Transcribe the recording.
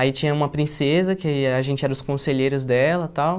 Aí tinha uma princesa, que a gente era os conselheiros dela e tal.